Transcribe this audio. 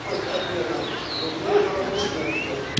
курс обмена рублей в новокузнецке